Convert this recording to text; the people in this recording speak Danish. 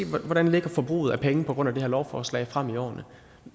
hvordan forbruget af penge ligger på grund af det her lovforslag frem i årene